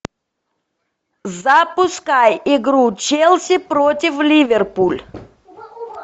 запускай игру челси против ливерпуль